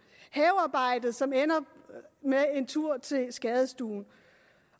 havearbejdet som ender med en tur til skadestuen